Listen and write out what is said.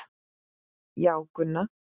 Já, Gunna.